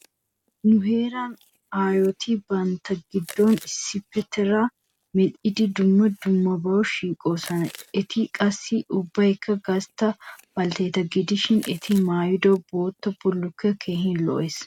Nu heeran aayoti bantta giddon issippetertaa medhdhidi dumma dummabawu shiiqoosona. Eti qassi ubbaykka gastta baltteeta gidishin eti maayido bootta bullukkoy keehin lo'ees.